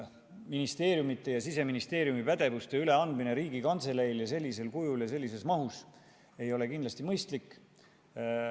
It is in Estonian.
Ministeeriumide ja Siseministeeriumi pädevuste üleandmine Riigikantseleile sellisel kujul ja sellises mahus ei ole kindlasti mõistlik.